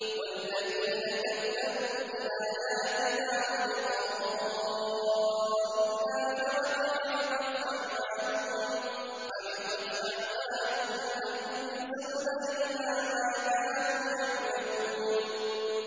وَالَّذِينَ كَذَّبُوا بِآيَاتِنَا وَلِقَاءِ الْآخِرَةِ حَبِطَتْ أَعْمَالُهُمْ ۚ هَلْ يُجْزَوْنَ إِلَّا مَا كَانُوا يَعْمَلُونَ